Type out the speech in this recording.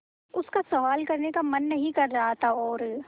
उसका सवाल करने का मन नहीं कर रहा था और